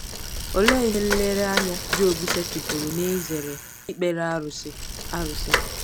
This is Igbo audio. Olee ihe nlereanya Job setịpụrụ n'izere ikpere arụsị? arụsị?